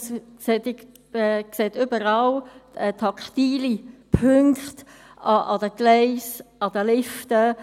Man sieht überall taktile Punkte, bei den Gleisen, an den Liften.